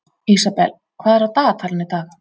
Ísabel, hvað er á dagatalinu í dag?